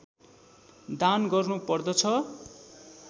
दान गर्नुपर्दछ